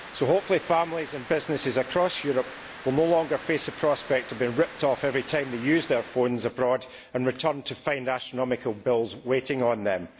So, hopefully, families and businesses across Europe will no longer face the prospect of being ripped off every time they use their phones abroad and return to find astronomical bills waiting on them.